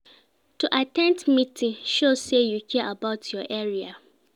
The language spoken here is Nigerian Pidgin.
To at ten d meeting, show say you care about your area